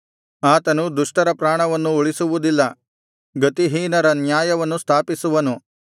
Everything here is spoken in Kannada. ಆತನು ದುಷ್ಟರ ಪ್ರಾಣವನ್ನು ಉಳಿಸುವುದಿಲ್ಲ ಗತಿಹೀನರ ನ್ಯಾಯವನ್ನು ಸ್ಥಾಪಿಸುವನು